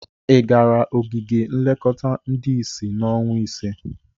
Ị gara ogige nlekọta ndị isi n'ọnwa ise?